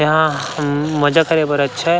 यहाँ हम मज़ा करे बा अच्छा ए--